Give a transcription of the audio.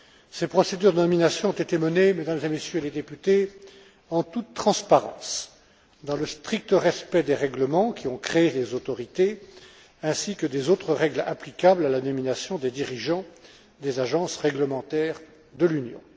Ces procédures de nomination ont été menées, Mesdames et Messieurs les députés, en toute transparence, dans le strict respect des règlements qui ont créé les autorités ainsi que des autres règles applicables à la nomination des dirigeants des agences réglementaires de l'Union.